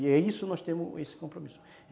E é isso. Nós temos esse compromisso.